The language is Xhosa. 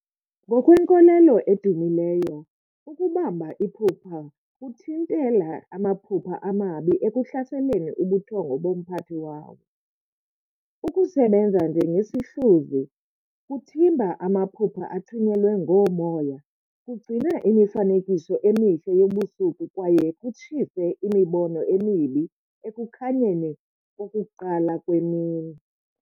Ngokwenkolelo edumileyo, ukubamba iphupha kuthintela amaphupha amabi ekuhlaseleni ubuthongo bomphathi wawo. Ukusebenza njengesihluzi, kuthimba amaphupha athunyelwe ngoomoya, kugcina imifanekiso emihle yobusuku kwaye kutshise imibono emibi ekukhanyeni kokuqala kwemini.